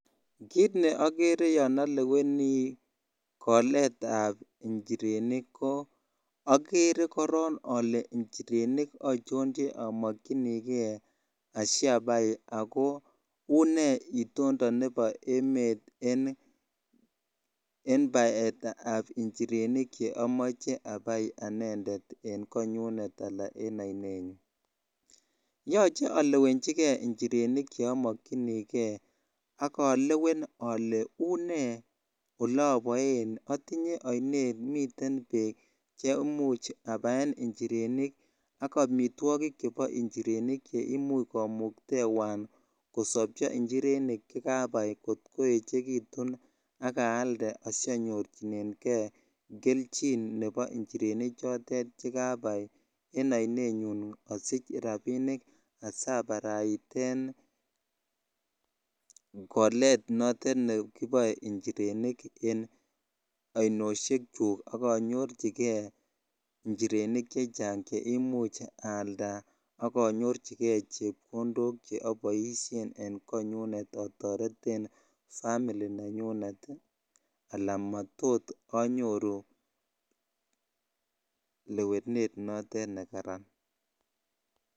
Kiit ne okere yoon oleweni koleetab njirenik ko okere korong olee njirenik ochon che omokyinike asiabai ak ko unee itondo nebo emet en baetab njirenik cheomoe abai anendet en konyunet alaa en oinenyun, yoche olewenchike njirenik cheomokyinike ak olewen olee unee oloboen otinye oinet miten beek chemuch abaen njirenik ak amitwokik chebo njirenik cheimuch komuktewan kosobcho njirenik kot koechekitun ak aalde asionyorchineng'e kelchin nebo njirenik chotet che kabaai en oinenyun asich rabinik asabaraiten koleet notet nekiboe njirenik en oinosiek chuk ak onyorchike njirenik chechang cheimuch aalda ak onyirchike chepkondok cheimuch oboishen en konyunet atoreten family nenyunet alaan matot anyoru lewenet notet nekaran.